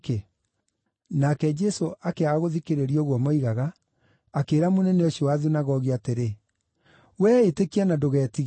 Nake Jesũ akĩaga gũthikĩrĩria ũguo moigaga, akĩĩra mũnene ũcio wa thunagogi atĩrĩ, “Wee ĩtĩkia na ndũgetigĩre.”